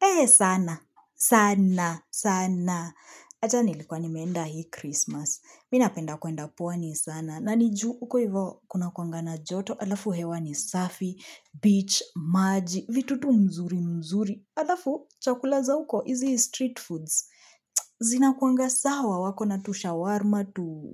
Eh sana, sana, sana. Ata nilikuwa nimeenda hii Christmas. Mi napenda kuenda pwani sana. Na ni juu uko hivo kunakuanga na joto. Alafu hewa ni safi, beach, maji, vitu tu mzuri mzuri. Alafu chakula za uko, hizi street foods. Zinakuanga sawa, wako na tu shawarma, tu